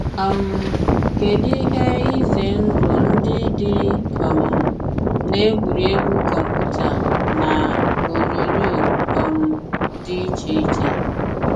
um Kedụ ihe ize ndụ ndị dị um n’egwuregwu kọmputa na onyonyo um dị iche iche?